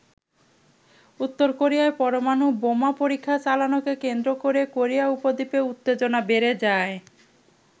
উত্তর কোরিয়ার পরমাণু বোমা পরীক্ষা চালানোকে কেন্দ্র করে কোরিয়া উপদ্বীপে উত্তেজনা বেড়ে যায়।